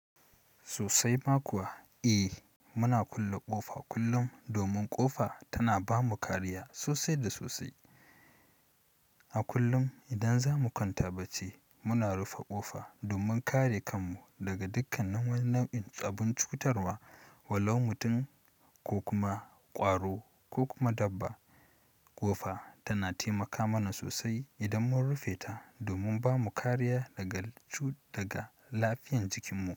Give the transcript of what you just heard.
Sosai ma kuwa. Eh muna kulle ƙofa kullum domin ƙofa tana bamu kariya sosai da sosai. A kullum idan zamu kwanta bacci muna rufe ƙofa domin kare kanmu daga dukkan nin wani nau'in abun cutarwa. Walau mutum ko kuma ƙwaro ko kuma dabba. Ƙofa tana taimaka mana sosai idan mun rufe ta domin bamu kariya daga cut daga lafiyan jikinmu.